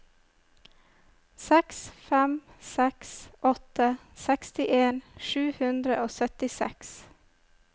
seks fem seks åtte sekstien sju hundre og syttiseks